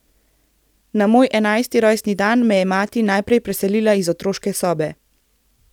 Na moj enajsti rojstni dan me je mati najprej preselila iz otroške sobe.